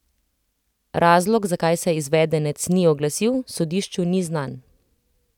Razlog, zakaj se izvedenec ni oglasil, sodišču ni znan.